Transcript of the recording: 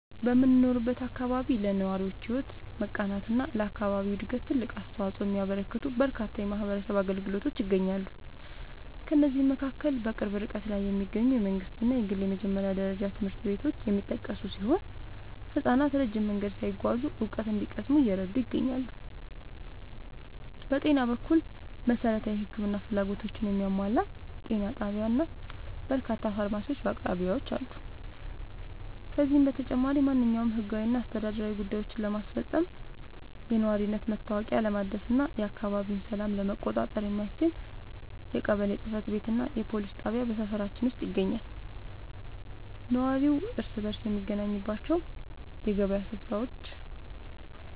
በምኖርበት አካባቢ ለነዋሪዎች ሕይወት መቃናትና ለአካባቢው ዕድገት ትልቅ አስተዋፅኦ የሚያበረክቱ በርካታ የማኅበረሰብ አገልግሎቶች ይገኛሉ። ከእነዚህም መካከል በቅርብ ርቀት ላይ የሚገኙ የመንግሥትና የግል የመጀመሪያ ደረጃ ትምህርት ቤቶች የሚጠቀሱ ሲሆን፣ ሕፃናት ረጅም መንገድ ሳይጓዙ እውቀት እንዲቀስሙ እየረዱ ይገኛሉ። በጤና በኩል፣ መሠረታዊ የሕክምና ፍላጎቶችን የሚያሟላ ጤና ጣቢያና በርካታ ፋርማሲዎች በአቅራቢያችን አሉ። ከዚህም በተጨማሪ፣ ማንኛውንም ሕጋዊና አስተዳደራዊ ጉዳዮችን ለማስፈጸም፣ የነዋሪነት መታወቂያ ለማደስና የአካባቢውን ሰላም ለመቆጣጠር የሚያስችል የቀበሌ ጽሕፈት ቤትና የፖሊስ ጣቢያ በሰፈራችን ውስጥ ይገኛሉ። ነዋሪው እርስ በርስ የሚገናኝባቸው የገበያ ሥፍራዎችና